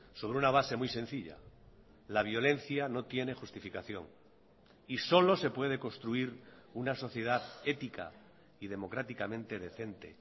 sobre una base muy sencilla la violencia no tiene justificación y solo se puede construir una sociedad ética y democráticamente decente